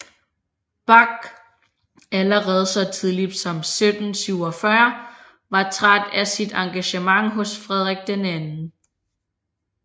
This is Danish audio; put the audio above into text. Bach allerede så tidligt som 1747 var træt af sit engagement hos Frederik den II